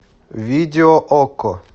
видео окко